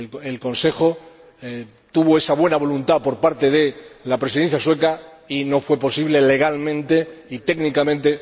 El Consejo tuvo esa buena voluntad por parte de la Presidencia sueca y no fue posible legal ni técnicamente.